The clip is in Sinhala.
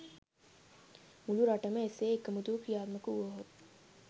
මුළු රටම එසේ එකමුතුව ක්‍රියාත්මක වුවහොත්